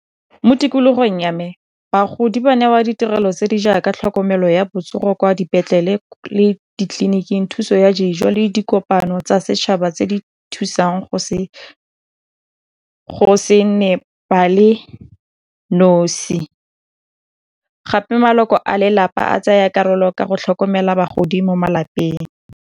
Mo tikologong ya me, bagodi ba newa ditirelo tse di jaaka tlhokomelo ya botsogo kwa dipetlele le ditleliniking, thuso ya dijo le dikopano tsa setšhaba tse di thusang go se nne ba le nosi, gape maloko a lelapa a tsaya karolo ka go tlhokomela bagodi mo malapeng.